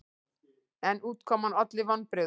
En útkoman olli vonbrigðum.